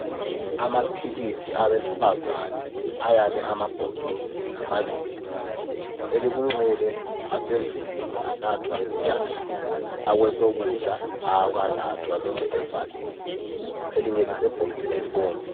Amaphilisi abesifazana ayame amabhokisi amabili elekunxele asevuliwe anathwa mbijana, akwesokudla awakanathwa lokhe evaliwe elinye lisebhokisini elibomvu.